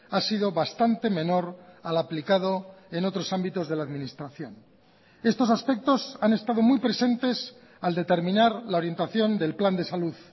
ha sido bastante menor al aplicado en otros ámbitos de la administración estos aspectos han estado muy presentes al determinar la orientación del plan de salud